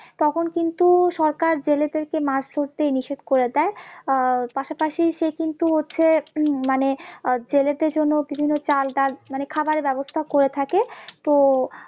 তখন কিন্তু সরকার জেলেদেরকে মাছ ধরতে নিষেধ করে দেয় আহ পাশাপাশি সে কিন্তু হচ্ছে উম মানে আহ জেলেদের জন্য বিভিন্ন চাল ডাল মানে খাবারের ব্যবস্থাও করে থাকে তো